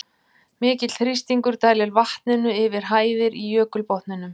Mikill þrýstingur dælir vatninu yfir hæðir í jökulbotninum.